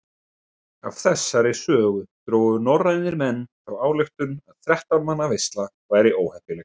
Af þessari sögu drógu norrænir menn þá ályktun að þrettán manna veisla væri óheppileg.